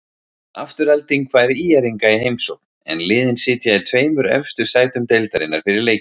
Afturelding fær ÍR-inga í heimsókn, en liðin sitja í tveimur efstu sætum deildarinnar fyrir leikinn.